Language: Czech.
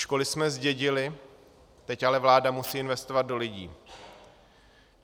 Školy jsme zdědili, teď ale vláda musí investovat do lidí.